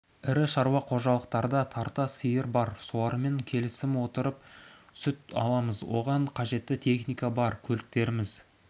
ірі шаруа қожалықтарда тарта сиыр бар солармен келісімге отырып сүт аламыз оған қажетті техника бар көліктеріміз